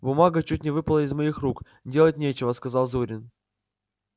бумага чуть не выпала из моих рук делать нечего сказал зурин